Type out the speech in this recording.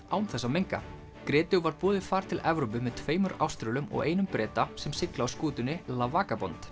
án þess að menga var boðið far til Evrópu með tveimur Áströlum og einum Breta sem sigla á skútunni la